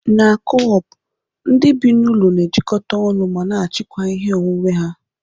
Na Co-op ndị bi n'ụlọ na-ejikọta ọnụ ma na achikwaa ihe onwunwe ha.